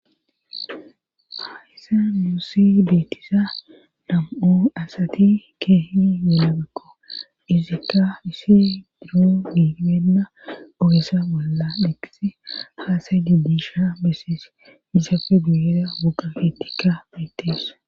Hayisa muussi beettisa nam7u asati keehi yelabekko izikka isi duro miimenna ogesa bolla dheqis haasay didisha bessees isafe guyeera gugafetikka betes.